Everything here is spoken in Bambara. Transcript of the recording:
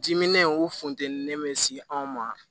Diminen o funteni mɛ se anw ma